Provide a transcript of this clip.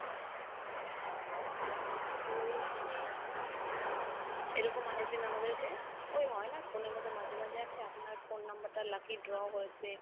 বলছি এরকম আরেকদিন আমদেরকে ঐ হয় না phone এর মধ্যে মাঝে মাঝে আসে আপনার phone number টা lucky draw হয়েছে।